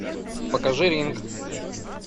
покажи ринг